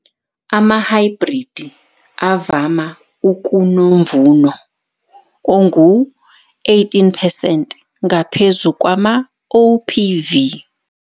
Amahhayibhridi avama ukunomvuno ongu-18 percent ngaphezu kwamaOPV.